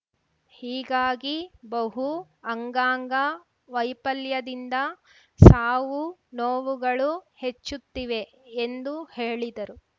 ಹೀಗಾಗಿ ಬಹು ಅಂಗಾಂಗ ವೈಪಲ್ಯದಿಂದ ಸಾವುನೋವುಗಳು ಹೆಚ್ಚುತ್ತಿವೆ ಎಂದು ಹೇಳಿದರು